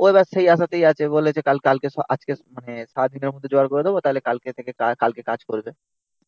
ও এবার সেই আশাতেই আছে বলে যে কাল মানে আজকে সারাদিনের মধ্যে জোগাড় করে দেবো কালকে তাহলে কাজ করবে,